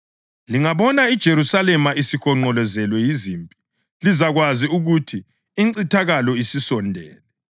Lingabona iJerusalema isihonqolozelwe yizimpi lizakwazi ukuthi incithakalo isisondele.